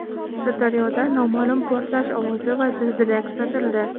Sirdaryoda noma’lum portlash ovozi va zilzila kuzatildi.